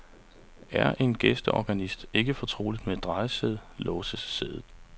Er en gæsteorganist ikke fortrolig med et drejesæde, låses sædet.